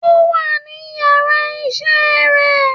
o wa ní ìyára iṣẹ re